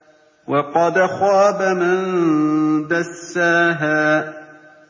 وَقَدْ خَابَ مَن دَسَّاهَا